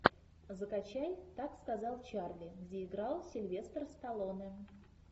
закачай так сказал чарли где играл сильвестр сталлоне